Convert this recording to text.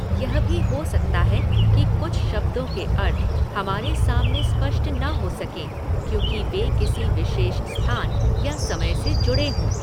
यह भी हो सकता है कि कुछ शब्दों के अर्थ हमारे सामने स्पष्ट न हो सकें क्योंकि वे किसी विशेष स्थान या समय से जुड़े हों।